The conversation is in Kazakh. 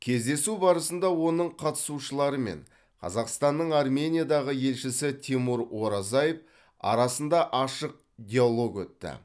кездесу барысында оның қатысушылары мен қазақстанның армениядағы елшісі тимур оразаев арасында ашық диалог өтті